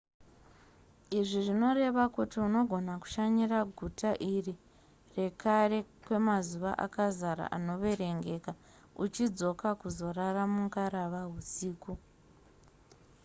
izvi zvinoreva kuti unogona kushanyira guta iri rekare kwemazuva akazara anoverengeka uchidzoka kuzorara mungarava husiku